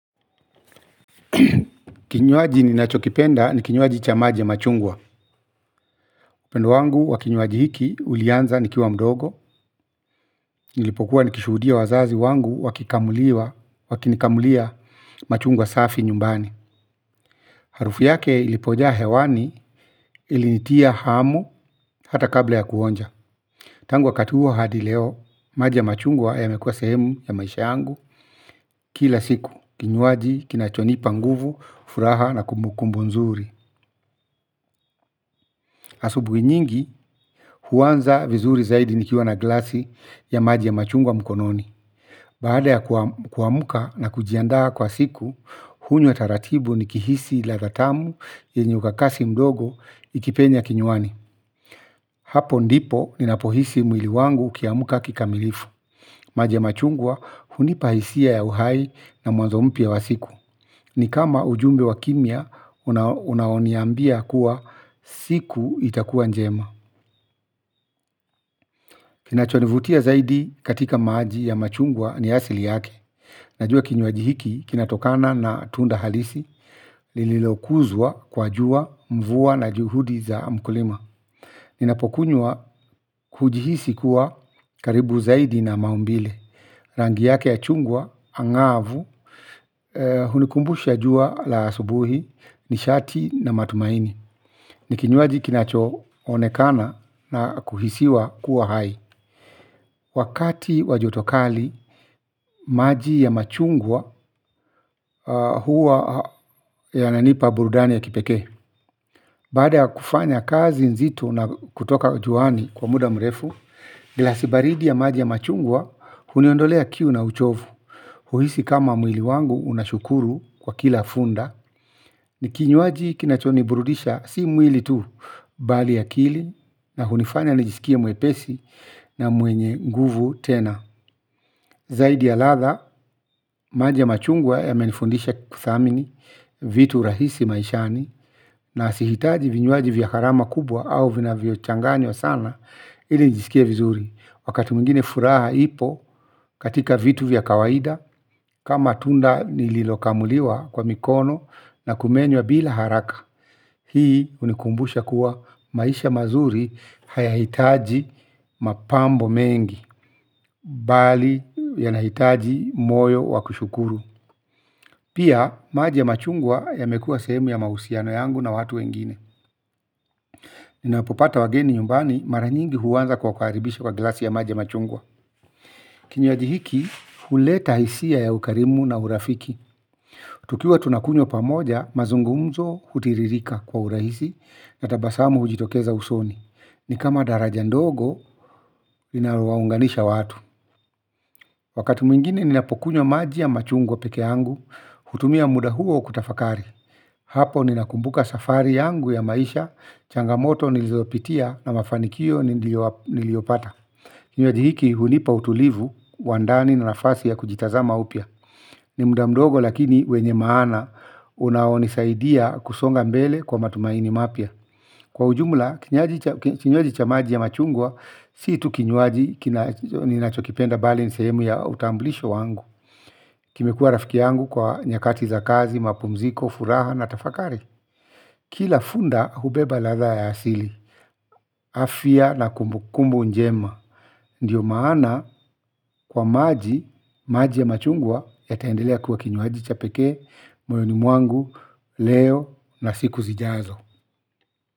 Kinywaji ninachokipenda ni kinywaji cha maji ya machungwa upendo wangu wa kinywaji hiki ulianza nikiwa mdogo. Nilipokuwa nikishuhudia wazazi wangu wakikamuliwa wakinikamulia machungwa safi nyumbani. Harufu yake ilipojaa hewani ilinitia hamu hata kabla ya kuonja. Tangu wakati huo hadi leo maji ya machungwa yamekuwa sehemu ya maisha yangu. Kila siku kinywaji kinachonipa nguvu furaha na kumbu kumbu nzuri asubuhi nyingi huanza vizuri zaidi nikiwa na glasi ya maji ya machungwa mkononi. Baada ya kuamuka na kujiandaa kwa siku, hunywa taratibu nikihisi ladha tamu yenye ukakasi mdogo ikipenya kinywani. Hapo ndipo ninapohisi mwili wangu ukiamka kikamilifu. Maji ya machungwa hunipa hisia ya uhai na mwanzo mpya wa siku. Ni kama ujumbe wa kimya, unaoniambia kuwa siku itakuwa njema. Kina chonivutia zaidi katika maji ya machungwa ni asili yake. Najua kinywaji hiki kinatokana na tunda halisi lililokunzwa kwa jua mvua na juhudi za mkulima. Ninapokunywa hujihisi kuwa karibu zaidi na maumbile. Rangi yake ya chungwa angavu hunikumbusha jua la asubuhi nishati na matumaini. Ni kinywaji kinachoonekana na kuhisiwa kuwa hai. Wakati wa jotokali, maji ya machungwa huwa yananipa burudani ya kipekee. Baada kufanya kazi nzito na kutoka juani kwa muda mrefu, glasi baridi ya maji ya machungwa huniondolea kiu na uchovu. Huhisi kama mwili wangu unashukuru kwa kila funda. Ni kinwaji kinachoniburudisha si mwili tu bali akili na kunifanya nijisikie mwepesi na mwenye nguvu tena. Zaidi ya ladha, maji ya machungwa yamenifundisha kuthamini vitu rahisi maishani. Na sihitaji vinywaji vya gharama kubwa au vinavyo changanywa wa sana ili nijisikie vizuri wakati mwingine furaha ipo katika vitu vya kawaida kama tunda nililokamuliwa kwa mikono na kumenywa bila haraka. Hii hunikumbusha kuwa maisha mazuri hayahitaji mapambo mengi. Bali yanahitaji moyo wakushukuru. Pia maji ya machungwa yamekua sehemu ya mahusiano yangu na watu wengine ninapopata wageni nyumbani mara nyingi huanza kuwakaribisha kwa glasi ya maji ya machungwa, kinywaji hiki huleta hisia ya ukarimu na urafiki. Tukiwa tunakunywa pamoja mazungumzo hutiririka kwa urahisi. Na tabasamu hujitokeza usoni. Ni kama daraja ndogo inalo waunganisha watu. Wakati mwingine ninapokunywa maji ya machungwa peke angu, hutumia muda huo kutafakari. Hapo ninakumbuka safari angu ya maisha, changamoto nilizopitia na mafanikio niliopata. Kinywaji hiki hunipa utulivu, wa ndani na nafasi ya kujitazama upya. Ni muda mdogo lakini wenye maana unaonisaidia kusonga mbele kwa matumaini mapya. Kwa ujumla, kinywaji cha maji ya machungwa, si tu kinywaji, ninachokipenda bali ni sehemu ya utamblisho wangu. Kimekua rafiki yangu kwa nyakati za kazi, mapumziko, furaha na tafakari. Kila funda hubeba ladha ya asili, afya na kumbukumbu njema. Ndiyo maana kwa maji, maji ya machungwa, yataendelea kuwa kinywaji cha pekee, moyoni mwangu, leo na siku zijazo.